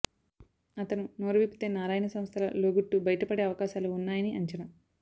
అతను నోరువిప్పితే నారాయణ సంస్థల లోగుట్టు బయటపడే అవకాశాలు ఉన్నాయని అంచనా